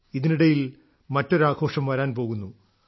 ഇതിനിടയിൽ മറ്റൊരു ആഘോഷം വരാൻ പോകുന്നു